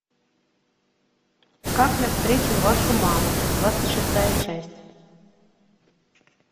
как я встретил вашу маму двадцать шестая часть